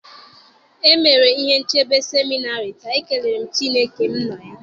e mere ihe nchebe seminarị taa, ekele Chineke m nọ ya.